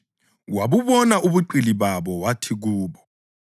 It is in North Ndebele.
Wabubona ubuqili babo wathi kubo,